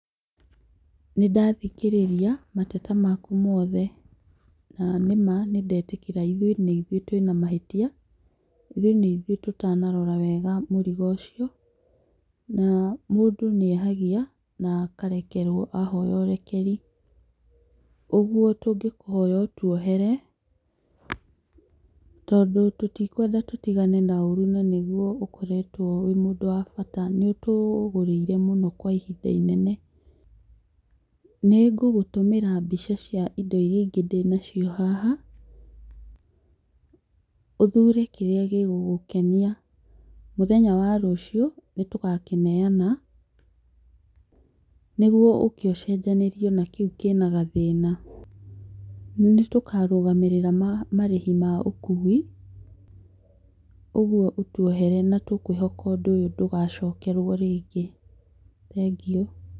Nĩndathikĩrĩria mateta maku mothe, na nĩ ma nĩndetĩkĩra ithuĩ nĩ ithũĩ twĩ na mahĩtia, ithũi nĩ ithuĩ tũtanarora wega mũrigo ũcio. Na mũndũ nĩ ehagia na akarekerwo ahoya ũrekeri, ũguo tũngĩkũhoya ũtuohere tondũ tũtikwenda tũtigane na ũru na nĩguo ũkoretwo wĩ mũndũ wa bata, nĩ ũtũgũrĩire mũno kwa ihinda inene. Nĩngũgũtũmĩra mbica cia indo irĩa ingĩ ndĩnacio haha, ũthũre kĩrĩa gĩgũkenia, mũthenya wa rũcio nĩtũgakĩneyana nĩguo ũke ũcenjanĩriwo na kĩu kĩna gathĩĩna. Nĩ tũkarũgamĩrĩera marĩhi ma ũkui. Ũguo ũtuoherwe na twĩkwihoka ũndũ ũyũ ndugacokerwo rĩngĩ, thengiũ.